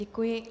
Děkuji.